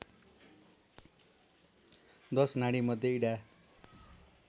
१० नाडीमध्ये इडा